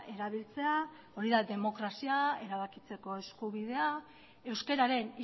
erabiltzea hori da demokrazia erabakitzeko eskubidea euskararen